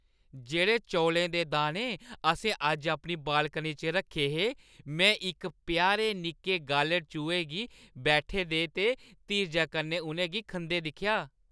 जेह्ड़े चौलें दे दाने असें अज्ज अपनी बालकनी च रक्खे हे, मैं इक प्यारे निक्के गालढ़-चूहे गी बैठे दे ते धीरजै कन्नै उ'नें गी खंदे दिक्खेआ ।